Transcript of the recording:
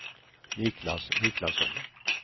Niklas Niklasson